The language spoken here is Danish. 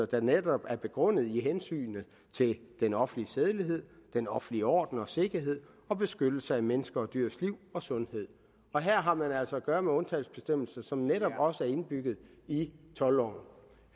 der netop er begrundet i hensynet til den offentlige sædelighed den offentlige orden og sikkerhed og beskyttelse af menneskers og dyrs liv og sundhed her har man altså at gøre med undtagelsesbestemmelser som netop også er indbygget i toldloven